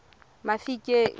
mafikeng